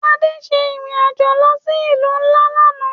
Ade ṣe irin ajo lo si ilu nla làná.